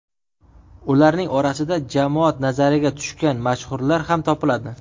Ularning orasida jamoat nazariga tushgan mashhurlar ham topiladi.